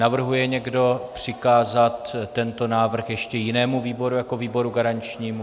Navrhuje někdo přikázat tento návrh ještě jinému výboru jako výboru garančnímu?